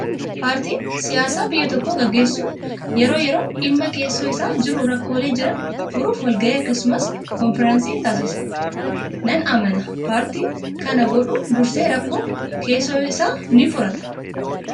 Paartiin siyaasaa biyya tokko gaggeessu yeroo yeroon dhimma keessoo isaa jiru rakkoolee jiran furuuf wal gahii akkasumas konfiraansii ni taasisa. Nan amanaa paartiin kana godhu dursee rakkoo keessoo isaa ni furata.